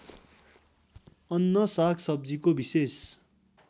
अन्न सागसब्जीको विशेष